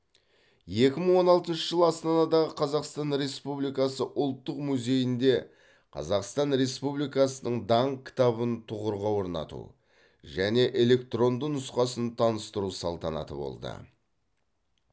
екі мың он алтыншы жылы астанадағы қазақстан республикасы ұлттық музейінде қазақстан республикасының даңқ кітабын тұғырға орнату және электронды нұсқасын таныстыру салтанаты болды